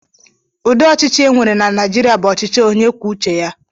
Udi ọchịchị e nwere na Naijịrịa bụ ọchịchị onyekwuoucheya